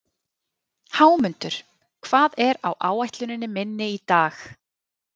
Hámundur, hvað er á áætluninni minni í dag?